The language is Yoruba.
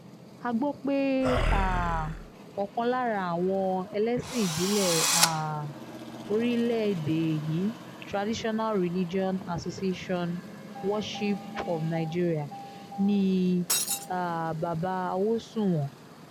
a gbọ́ pé um ọ̀kan lára àwọn ẹlẹ́sìn ìbílẹ̀ um lórílẹ̀‐èdè yìí traditional religion association worshipkes of nigeria ni bàbá awòsùnwọ̀n